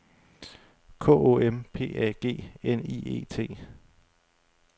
K O M P A G N I E T